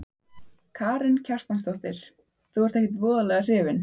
Karen Kjartansdóttir: Þú ert ekkert voðalega hrifinn?